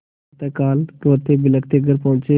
प्रातःकाल रोतेबिलखते घर पहुँचे